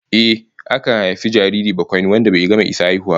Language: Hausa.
Ehh, akan haifi jariri bakwaini wanda bai gama isa haihuwa ba